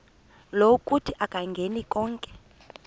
lokuthi akayingeni konke